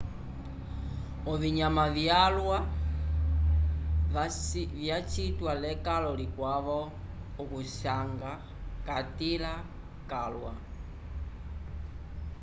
ovinyama vyalwa vacitiwa lekalo likwavo okuvisanga catῖla calwa.